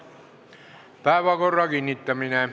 Päevakorra kinnitamine.